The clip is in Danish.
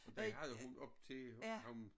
Den havde hun op til hos ham